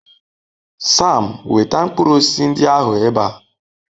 Sam, weta mkpụrụ osisi ndị ahụ ebe a.